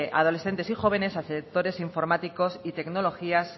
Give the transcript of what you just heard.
adolescentes y jóvenes a sectores informáticos y tecnologías